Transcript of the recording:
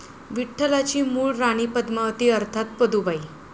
विठ्ठलाची मूळ राणी पद्मावती अर्थात 'पदूबाई'.